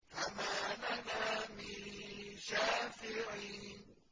فَمَا لَنَا مِن شَافِعِينَ